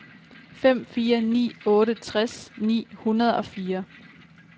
fem fire ni otte tres ni hundrede og fire